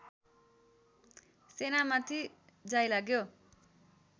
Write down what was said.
सेनामाथि जाइलाग्यो